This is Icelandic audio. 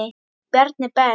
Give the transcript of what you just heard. Bjarni Ben.